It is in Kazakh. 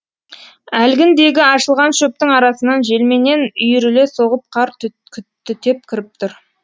әлгіндегі ашылған шөптің арасынан желменен үйіріле соғып қар түтеп кіріп тұр